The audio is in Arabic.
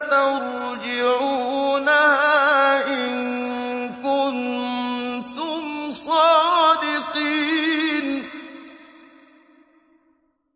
تَرْجِعُونَهَا إِن كُنتُمْ صَادِقِينَ